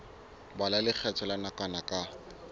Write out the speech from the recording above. bala lekgetho la nakwana ka